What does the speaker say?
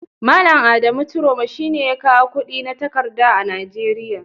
Malam Adamu ciroma shine ya kawo kudi na takarda a Najeria.